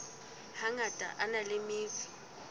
hangata a na le metso